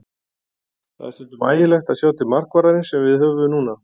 Það er stundum ægilegt að sjá til markvarðarins sem við höfum núna.